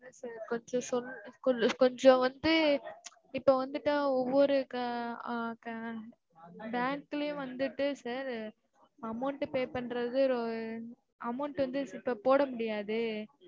first டு சொல் கொஞ்சம் கொஞ்சம் வந்து இப்போ வந்துட்டு ஒவ்வொரு ஆஹ் bank லையும் வந்துட்டு sir amount pay பண்றது ஆஹ் amount டு வந்து இப்போ போட முடியாதே!